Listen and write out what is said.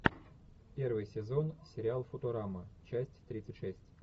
первый сезон сериал футурама часть тридцать шесть